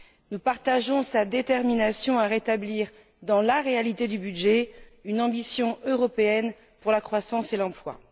Nous partageons sa détermination à rétablir, dans la réalité du budget, une ambition européenne pour la croissance et l'emploi.